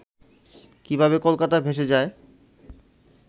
কীভাবে কলকাতা ভেসে যায়